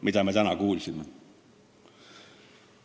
Mida me täna kuulsime?